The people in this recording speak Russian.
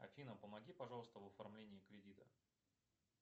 афина помоги пожалуйста в оформлении кредита